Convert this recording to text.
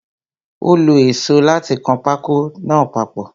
Ó lo èsó láti kan pákó náà papọ̀.